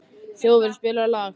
Þjóðólfur, spilaðu lag.